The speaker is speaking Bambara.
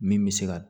Min bɛ se ka